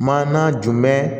Ma na jomɛ